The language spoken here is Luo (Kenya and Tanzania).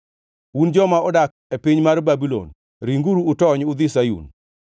“Un joma odak e piny nyar Babulon ringuru utony udhi Sayun!”